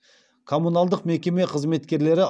коммуналдық мекеме қызметкерлері